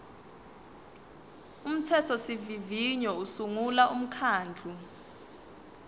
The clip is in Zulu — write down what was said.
umthethosivivinyo usungula umkhandlu